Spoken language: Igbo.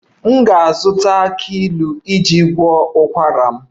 M ga-azụta aki ilu iji gwọọ ụkwara m